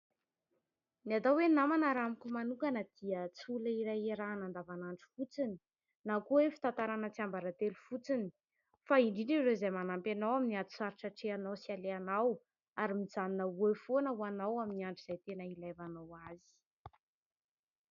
Ny atao hoe namana raha amiko manokana dia tsy olona iray iarahana andavanandro fotsiny na koa hoe fitantarana tsiambaratelo fotsiny, fa indrindra ireo izay manampy anao amin'ny ady sarotra atrehinao sy alehanao ary mijanona ho eo foana ho anao, amin'ny andro izay tena ilaivanao azy.